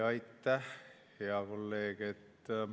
Aitäh, hea kolleeg!